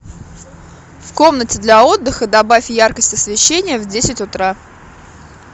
в комнате для отдыха добавь яркость освещения в десять утра